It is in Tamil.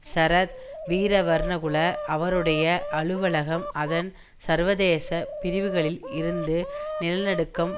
சரத் வீரவர்ணகுல அவருடைய அலுவலகம் அதன் சர்வதேச பிரிவுகளில் இருந்து நிலநடுக்கம்